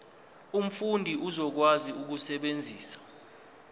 umfundi uzokwazi ukusebenzisa